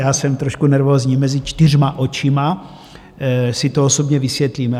Já jsem trošku nervózní - mezi čtyřma očima si to osobně vysvětlíme.